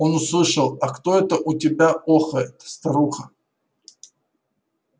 он услышал а кто это у тебя охает старуха